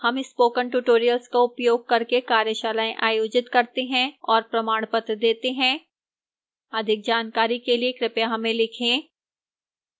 हम spoken tutorial का उपयोग करके कार्यशालाएँ आयोजित करते हैं और प्रमाणपत्र देती है अधिक जानकारी के लिए कृपया हमें लिखें